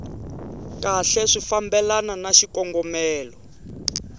kahle swi fambelana na xikongomelo